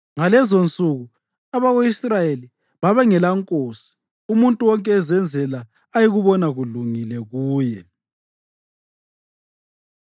Ngalezonsuku abako-Israyeli babengelankosi; umuntu wonke ezenzela ayekubona kulungile kuye.